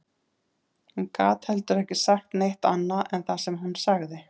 Hún gat heldur ekki sagt neitt annað en það sem hún sagði